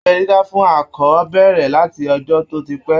Abẹ́ dídá fún akọ bẹ̀rẹ̀ láti ọjọ́ tó ti pẹ́